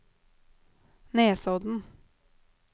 Nesodden